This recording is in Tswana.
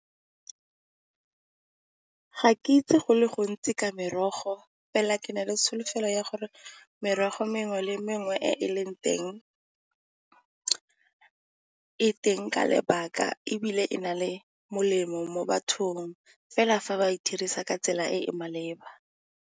Ga ke itse go le gontsi ka merogo, fela ke na le tsholofelo ya gore merogo mengwe le mengwe e e leng teng e teng ka lebaka ebile e na le molemo mo bathong fela fa ba e dirisa ka tsela e e maleba.